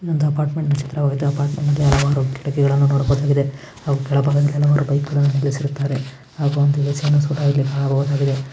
ಇದೊಂದು ಅಪಾರ್ಟ್ಮೆಂಟ್ ಚಿತ್ರ ಇದು ಅಪಾರ್ಟ್ಮೆಂಟ್ ಹಲವಾರು ಕಿಟಕಿಗಳನ್ನು ನೋಡಬಹುದಾಗಿದೆ. ಅವ್ರು ಕೆಳ ಭಾಗದಲ್ಲಿ ನೂರು ಬೈಕ್ಗಳನ್ನು ನಿಲ್ಲಿಸಿ ಇಡ್ತಾರೆ .